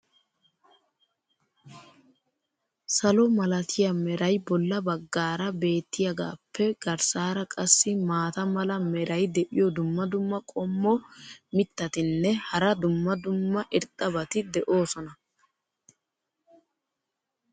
salo malatiya meray bolla bagaara beetiyaagaappe garssaara qassi maata mala meray diyo dumma dumma qommo mitattinne hara dumma dumma irxxabati de'oosona.